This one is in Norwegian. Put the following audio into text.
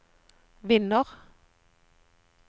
vinner